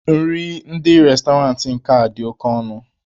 Nri ndị Restọrantị nke a dị oke ọnụ.